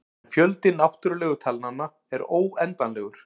En fjöldi náttúrulegu talnanna er óendanlegur.